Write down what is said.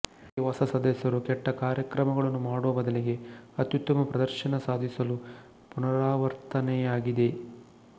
ಈ ಹೊಸ ಸದಸ್ಯರು ಕೆಟ್ಟ ಕಾರ್ಯಕ್ರಮಗಳನ್ನು ಮಾಡುವ ಬದಲಿಗೆ ಅತ್ಯುತ್ತಮ ಪ್ರದರ್ಶನ ಸಾಧಿಸಲು ಪುನರಾವರ್ತನೆಯಾಗಿದೆ